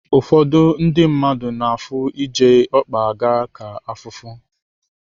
Ụfọdụ ndị mmadụ na-afụ iji ọkpa aga ka afụfụ.